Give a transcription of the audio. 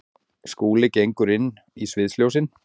Skúli gengur inn í sviðsljósin.